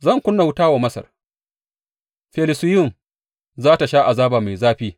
Zan ƙuna wuta wa Masar; Felusiyum za tă sha azaba mai zafi.